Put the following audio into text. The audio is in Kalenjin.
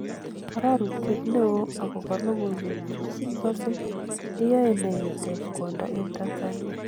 Arorutyet neo okobo logoiwek chu kigose, eyoe ne itech kwondo en Tanzania.